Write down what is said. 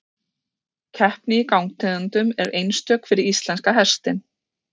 Keppni í gangtegundum er einstök fyrir íslenska hestinn.